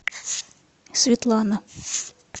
светлана